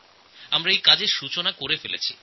আমরা এর শুভারম্ভ করে দিয়েছি